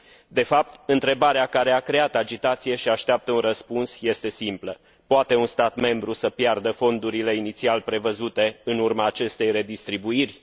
De fapt, întrebarea care a creat agitație și așteaptă un răspuns este simplă poate un stat membru să piardă fondurile inițial prevăzute în urma acestei redistribuiri?